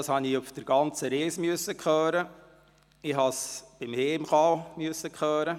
Dies musste ich dann während der ganzen Reise und auch auf der Rückreise hören.